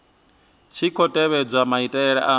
tshi khou tevhedzwa maitele a